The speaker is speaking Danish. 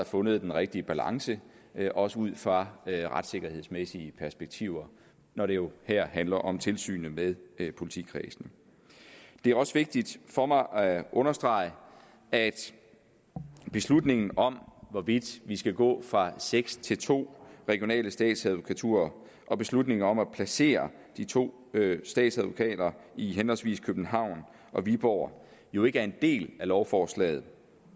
fundet den rigtige balance også ud fra retssikkerhedsmæssige perspektiver når det jo her handler om tilsynet med politikredsene det er også vigtigt for mig at understrege at beslutningen om hvorvidt vi skal gå fra seks til to regionale statsadvokaturer og beslutningen om at placere de to statsadvokater i henholdsvis københavn og viborg jo ikke er en del af lovforslaget